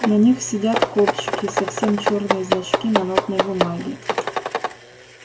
на них сидят кобчики совсем чёрные значки на нотной бумаге